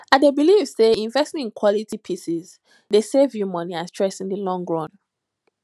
i dey believe say investing in quality pieces dey save you money and stress in di long run